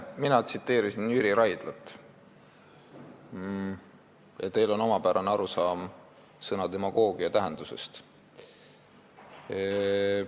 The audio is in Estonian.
Mina tsiteerisin Jüri Raidlat ja teil on omapärane arusaam sõna "demagoogia" tähendusest.